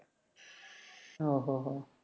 ഓഹോ ഹോ